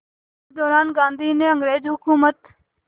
इसी दौरान गांधी ने अंग्रेज़ हुकूमत